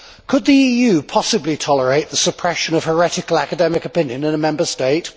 Could the EU possibly tolerate the suppression of heretical academic opinion in a Member State?